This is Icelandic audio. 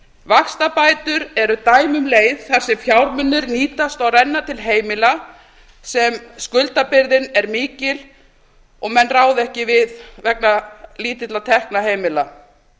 vaxtabætur eru dæmi um leið þar sem fjármunir nýtast og renna til heimila sem skuldabyrðin er mikil og menn ráða ekki við vegna lítilla tekna heimila